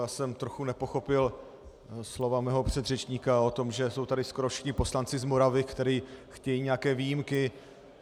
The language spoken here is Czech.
Já jsem trochu nepochopil slova svého předřečníka o tom, že jsou tady skoro všechno poslanci z Moravy, kteří chtějí nějaké výjimky.